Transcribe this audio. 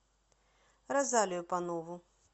розалию панову